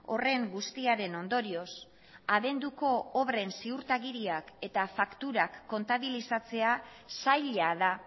horren guztiaren ondorioz abenduko obren ziurtagiriak eta fakturak kontabilizatzea zaila da